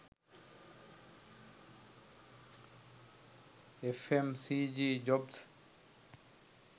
fmcg jobs